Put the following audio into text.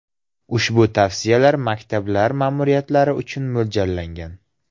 Ushbu tavsiyalar maktablar ma’muriyatlari uchun mo‘ljallangan.